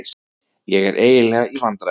Ég er eiginlega í vandræðum.